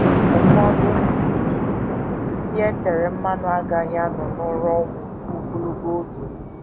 Ụfọdụ ndị e tere mmanụ agaghị anọ n’ụra ọnwụ ruo ogologo oge.